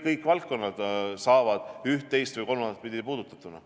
Kõik valdkonnad saavad ühte, teist või kolmandat pidi puudutatud.